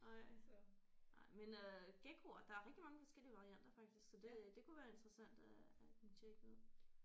Ej nej men øh gekkoer der er rigtig mange forskellige varianter faktisk så det det kunne være interessant øh at tjekke ud